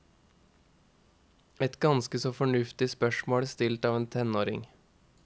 Et ganske så fornuftig spørsmål stilt av en tenåring.